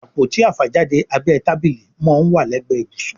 Àpótí àfàjáde abẹ́ tábílì món wá legbe ibusun